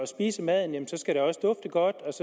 spise maden